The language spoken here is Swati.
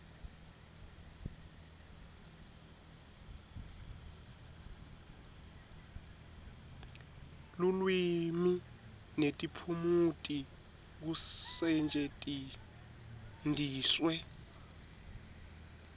lulwimi netiphumuti kusetjentiswe